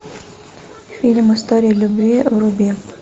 фильм история любви вруби